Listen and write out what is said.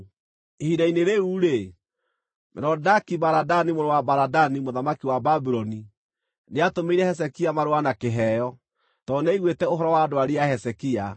Ihinda-inĩ rĩu-rĩ, Merodaki-Baladani mũrũ wa Baladani mũthamaki wa Babuloni nĩatũmĩire Hezekia marũa na kĩheo, tondũ nĩaiguĩte ũhoro wa ndwari ya Hezekia.